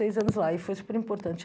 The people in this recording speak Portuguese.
anos lá e foi super importante.